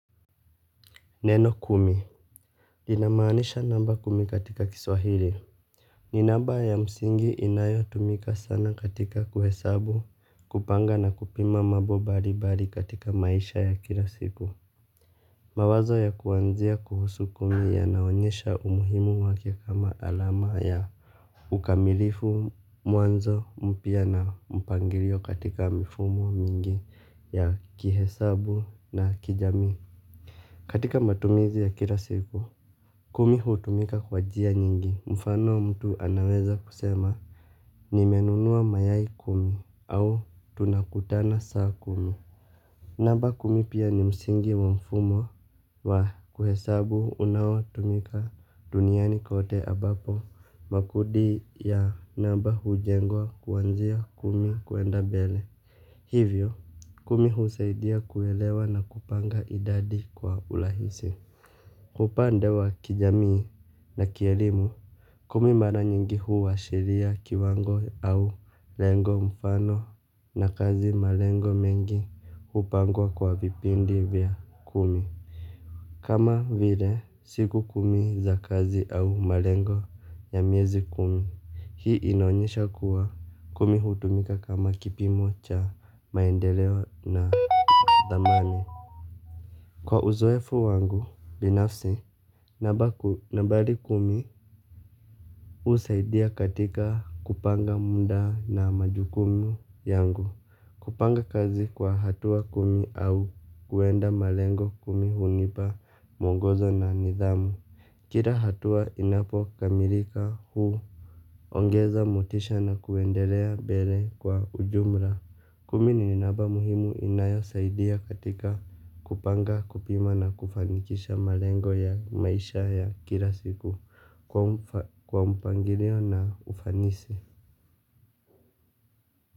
Neno kumi linamaanisha namba kumi katika kiswahili. Ni namba ya msingi inayo tumika sana katika kuhesabu, kupanga na kupima mambo mbali mbali katika maisha ya kila siku. Mawazo ya kuanzia kuhusu kumi yanaonyesha umuhimu wake kama alama ya ukamilifu mwanzo mpya na mpangilio katika mifumo mingi ya kihesabu na kijamii. Katika matumizi ya kila siku kumi hutumika kwa njia nyingi, mfano mtu anaweza kusema nimenunua mayai kumi au tunakutana saa kumi. Namba kumi pia ni msingi wa mfumo wa kuhesabu unao tumika duniani kote ambapo makundi ya namba hujengwa kwanzia kumi kwenda mbele. Hivyo kumi husaidia kuelewa na kupanga idadi kwa urahisi. Kwa upande wa kijamii na kielimu, kumi mara nyingi huashiria kiwango au lengo mfano na kazi malengo mengi hupangwa kwa vipindi vya kumi. Kama vile siku kumi za kazi au malengo ya miezi kumi, hii inaonyesha kuwa kumi hutumika kama kipimo cha maendeleo na thamani. Kwa uzoefu wangu binafsi nambari kumi husaidia katika kupanga muda na majukumu yangu. Kupanga kazi kwa hatua kumi au kwenda malengo kumi hunipa mwongozo na nidhamu. Kila hatua inapo kamilika huongeza motisha na kuendelea mbele kwa ujumla. Kumi ni namba muhimu inayosaidia katika kupanga, kupima na kufanikisha malengo ya maisha ya kila siku kwa mpangilio na ufanisi.